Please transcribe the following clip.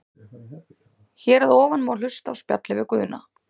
Hér að ofan má hlusta á spjallið við Guðna.